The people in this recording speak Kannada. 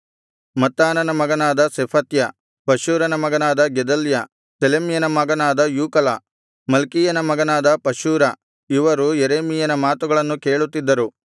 ಮತ್ತಾನನ ಮಗನಾದ ಶೆಫತ್ಯ ಪಷ್ಹೂರನ ಮಗನಾದ ಗೆದಲ್ಯ ಸೆಲೆಮ್ಯನ ಮಗನಾದ ಯೂಕಲ ಮಲ್ಕೀಯನ ಮಗನಾದ ಪಷ್ಹೂರ ಇವರು ಯೆರೆಮೀಯನ ಮಾತುಗಳನ್ನು ಕೇಳುತ್ತಿದ್ದರು